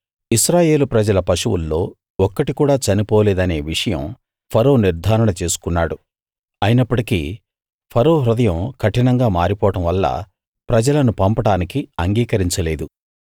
ఇశ్రాయేలు ప్రజల పశువుల్లో ఒక్కటి కూడా చనిపోలేదనే విషయం ఫరో నిర్ధారణ చేసుకున్నాడు అయినప్పటికీ ఫరో హృదయం కఠినంగా మారిపోవడం వల్ల ప్రజలను పంపడానికి అంగీకరించలేదు